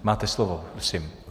Máte slovo, prosím.